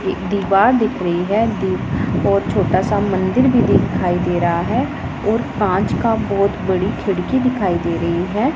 एक दीवार दिख रही है दी और छोटा सा मंदिर भी दिखाई दे रहा है और कांच का बहोत बड़ी खिड़की दिखाई दे रही है।